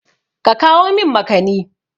Ka kawo min makani!